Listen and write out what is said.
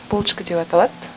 булочка деп аталады